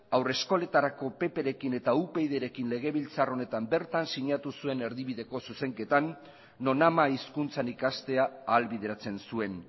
haur eskoletarako pp rekin eta upyd rekin legebiltzar honetan bertan sinatu zuen erdibideko zuzenketan non ama hizkuntzan ikastea ahalbideratzen zuen